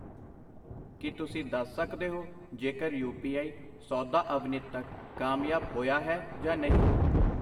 ਕਿ ਤੁਸੀਂ ਦੱਸ ਸਕਦੇ ਹੋ ਜੇਕਰ ਯੂ ਪੀ ਆਈ ਸੌਦਾ ਅਵਨਿਤ ਤੱਕ ਕਾਮਯਾਬ ਹੋਇਆ ਹੈ ਜਾਂ ਨਹੀਂ I